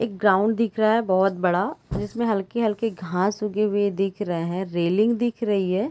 एक ग्राउंड दिख रहा है बहोत बड़ा जिसमें हल्की-हल्की घास उगे हुए दिख रहे है रेलिंग दिख रही है ।